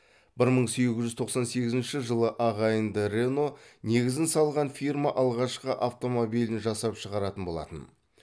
бір мың сегіз жүз тоқсан сегізінші жылы ағайынды рено негізін салған фирма алғашқы автомобилін жасап шығаратын болатын